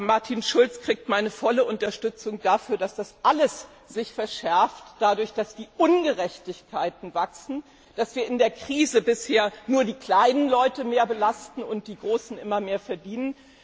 Martin Schulz erhält meine volle Unterstützung für die Aussage, dass das alles sich dadurch verschärft, dass die Ungerechtigkeiten wachsen, dass wir in der Krise bisher nur die kleinen Leute mehr belasten und die Großen immer mehr verdienen.